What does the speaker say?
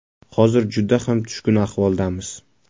Hozir juda ham tushkun ahvoldamiz.